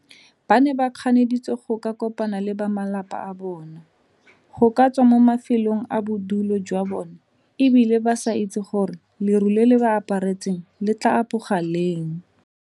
Ba ne ba kganeditswe go ka kopana le ba malapa a bona, go ka tswa mo mafelong a bodulo jwa bona e bile ba sa itse gore leru le le ba aparetseng le tla apoga leng.